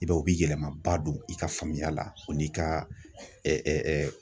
I b'a ye, u bi yɛlɛmaba don i ka faamuya la o n'i ka